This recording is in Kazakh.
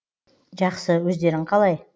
жақсы өздерің қалай